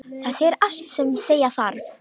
Það segir allt sem segja þarf.